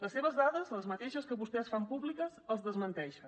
les seves dades les mateixes que vostès fan públiques els desmenteixen